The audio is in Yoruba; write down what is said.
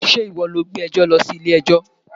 Ṣé ìwọ lọ gbé ẹjọ́ lọ sí ilé ẹjọ́?